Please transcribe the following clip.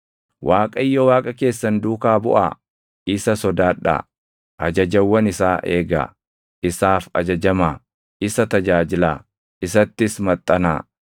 Waaqayyo Waaqa keessan duukaa buʼaa; isa sodaadhaa. Ajajawwan isaa eegaa; isaaf ajajamaa; isa tajaajilaa; isattis maxxanaa.